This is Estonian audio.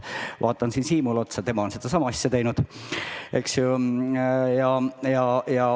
Ma vaatan siin Siimule otsa – tema on sedasama asja teinud.